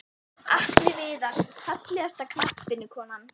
Atli Viðar Fallegasta knattspyrnukonan?